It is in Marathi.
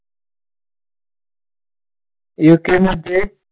यु के मध्ये,